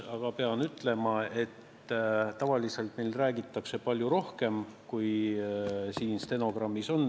Aga pean ütlema, et tavaliselt räägitakse meil palju rohkem, kui siin stenogrammis on.